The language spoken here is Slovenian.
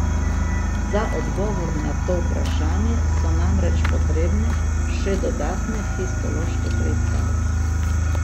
Za odgovor na to vprašanje so namreč potrebne še dodatne histološke preiskave.